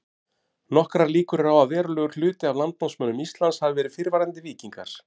Nokkrar líkur eru á því að verulegur hluti af landnámsmönnum Íslands hafi verið fyrrverandi víkingar.